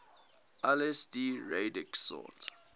lsd radix sort